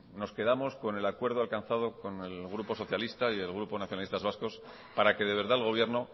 nos quedamos con el acuerdo alcanzado con el grupo socialista y el grupo nacionalistas vascos para que de verdad el gobierno